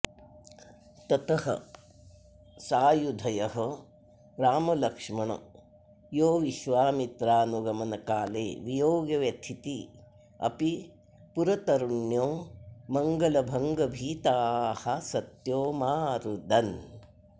ततः सायुधयो रामलक्ष्मणयोविश्वामित्राऽनुगमनकाले वियोगव्यथिती अपि पुरतरुण्यो मङ्गलभङ्गभीताः सत्यो मा रुदन्